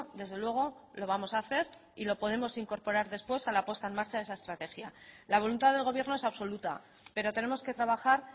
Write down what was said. desde luego lo vamos a hacer y lo podemos incorporar después a la puesta en marcha de esa estrategia la voluntad del gobierno es absoluta pero tenemos que trabajar